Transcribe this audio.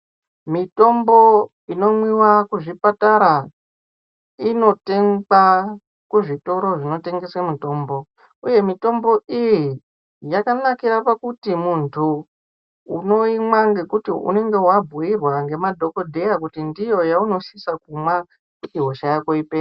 Mitombo inomwiwa kuzvipatara inotengwa kuzvitoro zvinotengeswe mitombo . Uye mitombo iyi yakanakira pakuti muntu unoimwa ngekuti unenge wabhiirwa ngemadhokodheya kuti ndoyaunosisa kumwa kuti hosha yako ipere.